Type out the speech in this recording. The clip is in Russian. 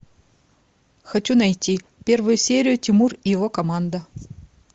хочу найти первую серию тимур и его команда